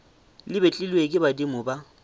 le betlilwe ke badimo ba